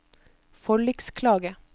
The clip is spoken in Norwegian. forliksklage